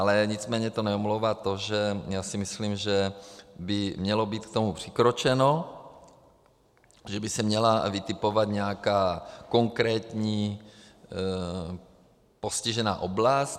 Ale nicméně to neomlouvá to, že já si myslím, že by mělo být k tomu přikročeno, že by se měla vytipovat nějaká konkrétní postižená oblast.